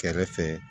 Kɛrɛfɛ